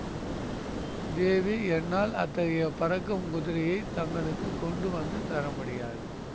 தேவி என்னால் அத்தகைய பறக்கும் குதிரையை தங்களுக்கு கொண்டு வந்து தர முடியாது